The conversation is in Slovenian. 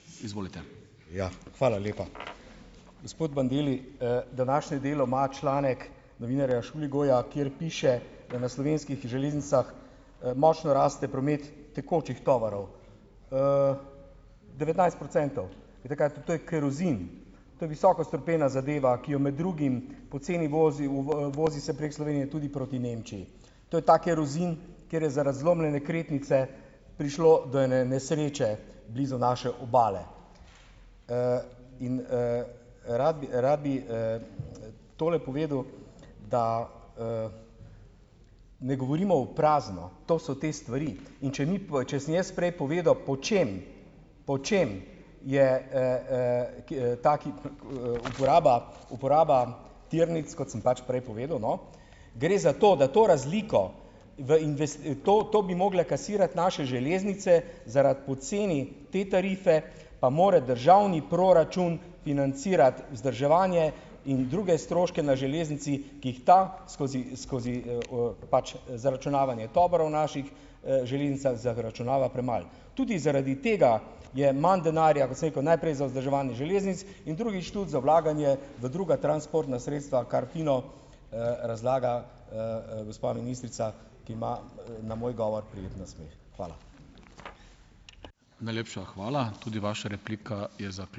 Ja, hvala lepa. Gospod Bandeli, današnje Delo ima članek novinarja Šuligoja, kjer piše, da na Slovenskih železnicah, močno raste promet tekočih tovorov. devetnajst procentov, veste, kaj to, to je kerozin. To je visoko strupena zadeva, ki jo med drugim poceni vozi v vozi se prek Slovenije tudi proti Nemčiji. To je ta kerozin, kjer je zaradi zlomljene kretnice prišlo do ene nesreče blizu naše obale. in, Rad bi, rad bi, tole povedal, da, ne govorimo v prazno. To so te stvari in če ni če sem jaz prej povedal, po čem, po čem je, ki, ta, ki, uporaba, uporaba tirnic, kot sem pač prej povedal, no, gre za to, da to razliko, v to, to bi mogle "kasirati" naše železnice, zaradi poceni te tarife pa mora državni proračun financirati vzdrževanje in druge stroške na železnici, ki jih ta skozi, skozi, pač zaračunavanje tovorov naših, železnicah zaračunava premalo. Tudi zaradi tega je manj denarja, kot sem rekel, najprej za vzdrževanje železnic in drugih za vlaganje v druga transportna sredstva, kar fino, razlaga, gospa ministrica, ki ima na moj govor prijeten nasmeh. Hvala.